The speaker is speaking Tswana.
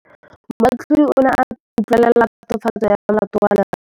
Moatlhodi o ne a utlwelela tatofatsô ya molato wa Lerato.